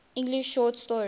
english short story